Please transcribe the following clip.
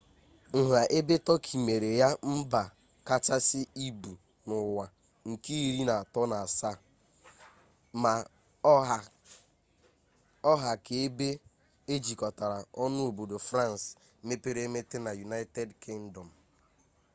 nha ebe tọki mere ya mba kachasị ibu n'ụwa nke iri atọ na asaa ma ọ ha ka ebe e jikọtara ọnụ obodo frans mepere emepe na united kingdom